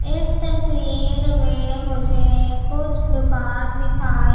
इस तस्वीर में मुझे कुछ दुकान दिखाई--